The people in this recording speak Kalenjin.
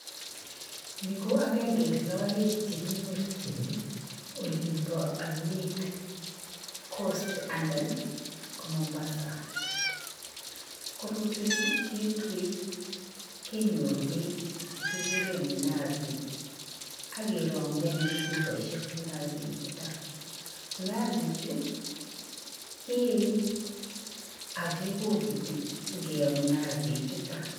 Ni ko agenge en logoek chekinyorchini olimpo oinet coast alan ko Mombasa. Korotwechu ketue kenyoru beek chekikuren mnazi ak kerong'yi chupoisiek mnazi chuton. Mnazi chu kee ak kebokekiti ingee mnazi chuton.